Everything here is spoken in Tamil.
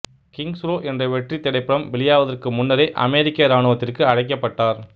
கிங்ஸ் ரோ என்ற வெற்றித் திரைப்படம் வெளியாவதற்கு முன்னரே அமெரிக்க இராணுவத்திற்கு அழைக்கப்பட்டார்